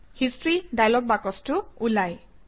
history dialogue বাকচটো ওলায়